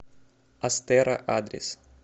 астэра адрес